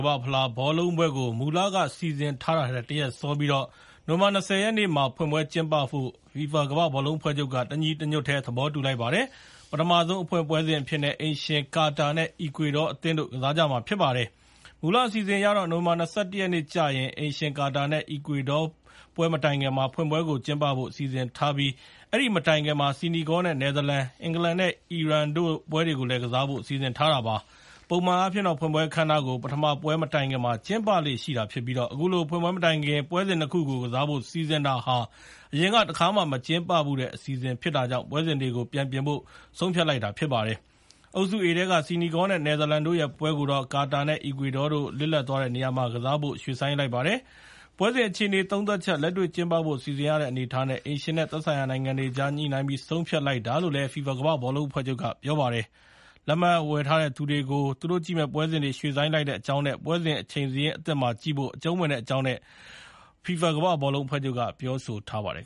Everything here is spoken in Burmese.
မ္ဘာ့ဖလားဘောလုံးပွဲကို မူလက စီစဉ်ထားထားထက် တရက်စောပြီး နိုဝင်ဘာ ၂၀ ရက်နေ့မှာ ဖွင့်ပွဲကျင်းပဖို့ FIFA ကမ္ဘာ့ဘောလုံးအဖွဲ့ချုပ်က တညီတညွတ်တည်း သဘောတူလိုက်ပါတယ်။ ပထမဆုံး အဖွင့်ပွဲစဉ်အဖြစ်နဲ့ အိမ်ရှင် ကာတာနဲ့ အီကွေဒေါအသင်းတို့ ကစားကြမှာဖြစ်ပါတယ်။ မူလအစီအစဉ်အရတော့ နိုဝင်ဘာ ၂၁ ရက်နေ့ကျရင် အိမ်ရှင် ကာတာနဲ့ အီကွေဒေါ ပွဲမတိုင်ခင်မှာ ဖွင့်ပွဲကို ကျင်းပဖို့ စီစဉ်ထားပြီး အဲဒီမတိုင်ခင်မှာ Senegal နဲ့ Netherlands ၊ အင်္ဂလန်နဲ့ အီရန်တို့ပွဲတွေကို ကစားဖို့ စီစဉ်ထားတာပါ။ ပုံမှန်အားဖြင့် ဖွင့်ပွဲအခမ်းအနားကို ပထမပွဲစဉ်မတိုင်ခင်မှာ ကျင်းပလေ့ရှိပြီး အခုလို ဖွင့်ပွဲမတိုင်ခင်မှာ ပွဲစဉ် ၂ ခုကို ကစားဖို့ စီစဉ်တာဟာ အရင်က တခါမှ မကျင်းပဖူးတဲ့ အစီအစဉ်ဖြစ်တာကြောင့် ပွဲစဉ်တွေကို ပြန်ပြင်ဖို့ ဆုံးဖြတ်လိုက်တာဖြစ်ပါတယ်။ အုပ်စု A ထဲက Senegal နဲ့ Netherlands တို့ရဲ့ ပွဲကိုတော့ Qutar နဲ့ Ecuador တို့ လစ်လပ်သွားတဲ့နေရာမှာ ကစားဖို့ ရွှေ့ဆိုင်းလိုက်ပါတယ်။ ပွဲစဉ်အခြေအနေ သုံးသပ်ချက်၊ လက်တွေ့ကျင်းပဖို့စီစဉ်ရတဲ့အနေအထားနဲ့ အိမ်ရှင်နဲ့ သက်ဆိုင်ရာနိုင်ငံတွေအကြား ညှိနှိုင်းပြီး ဆုံးဖြတ်လိုက်တာလို့ FIFA ဘောလုံးအဖွဲ့ချုပ်က ပြောပါတယ်။ လက်မှတ်ဝယ်ထားတဲ့သူတွေကို သူတို့ကြည့်မယ့်ပွဲစဉ်တွေ ရွှေ့ဆိုင်းလိုက်တဲ့အကြောင်းနဲ့ ပွဲစဉ်အချိန်စာရင်းအသစ်မှာ ကြည့်ဖို့ အကျုံးဝင်တဲ့အကြောင်း FIFA ဘောလုံးအဖွဲ့ချုပ်က ပြောဆိုထားပါတယ်